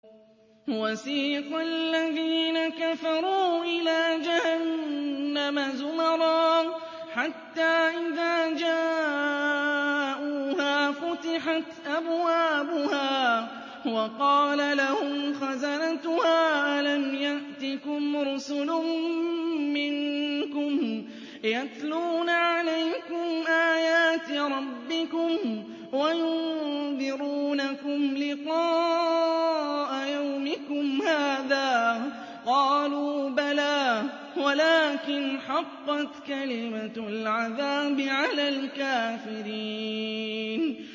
وَسِيقَ الَّذِينَ كَفَرُوا إِلَىٰ جَهَنَّمَ زُمَرًا ۖ حَتَّىٰ إِذَا جَاءُوهَا فُتِحَتْ أَبْوَابُهَا وَقَالَ لَهُمْ خَزَنَتُهَا أَلَمْ يَأْتِكُمْ رُسُلٌ مِّنكُمْ يَتْلُونَ عَلَيْكُمْ آيَاتِ رَبِّكُمْ وَيُنذِرُونَكُمْ لِقَاءَ يَوْمِكُمْ هَٰذَا ۚ قَالُوا بَلَىٰ وَلَٰكِنْ حَقَّتْ كَلِمَةُ الْعَذَابِ عَلَى الْكَافِرِينَ